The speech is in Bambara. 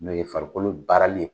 N'o ye farikolo baarali ye.